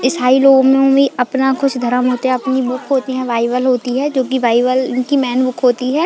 ईसाई लोगो में भी अपना कुछ धर्म होते है अपनी बुक होती है बाइबिल होती है जो की बाइबिल इनकी मैन बुक होती है।